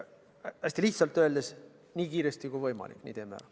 Hästi lihtsalt öeldes: nii kiiresti kui võimalik teeme ära.